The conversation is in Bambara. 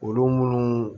Olu munnu